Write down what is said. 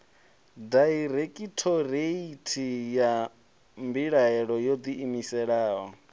dairekhithoreithi ya mbilaelo yo ḓiimisaho